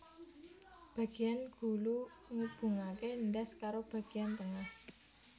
Bagiyan gulu ngubungake ndas karo bagiyan tengah